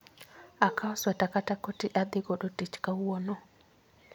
Akaw sweta kata koti adhi godo tich kawuono